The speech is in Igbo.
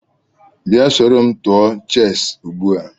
Bia soro m tụọ cheesị ugbua!